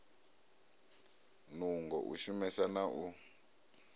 nungo u shumesa na u